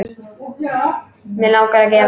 Mig langar að gefa.